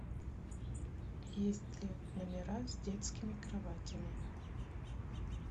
есть ли номера с детскими кроватями